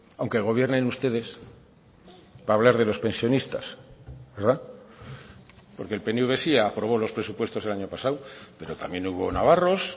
aunque gobiernen ustedes para hablar de los pensionistas verdad porque el pnv sí aprobó los presupuestos el año pasado pero también hubo navarros